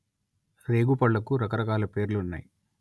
రేగు పళ్లకు రకరకాల పేర్లున్నాయి